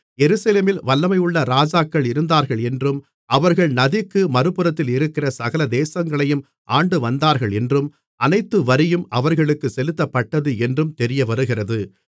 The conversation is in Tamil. எருசலேமில் வல்லமையுள்ள ராஜாக்கள் இருந்தார்கள் என்றும் அவர்கள் நதிக்கு மறுபுறத்தில் இருக்கிற சகல தேசங்களையும் ஆண்டுவந்தார்கள் என்றும் அனைத்து வரியும் அவர்களுக்குச் செலுத்தப்பட்டது என்றும் தெரியவருகிறது